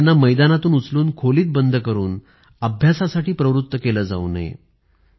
त्यांना मैदानातून उचलून खोलीत बंद करून अभ्यासासाठी प्रवृत्त केले जाऊ नये